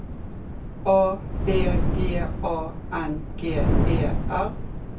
A V G A N G E R